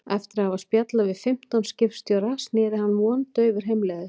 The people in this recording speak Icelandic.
Eftir að hafa spjallað við fimmtán skipstjóra sneri hann vondaufur heimleiðis.